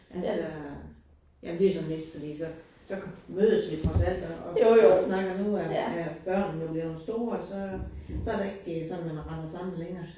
Altså jamen videoen mistede lige, så så mødes vi trods alt og og snakker. Nu er er børnene jo blevet store, så så det ikke sådan, at man render sammen længere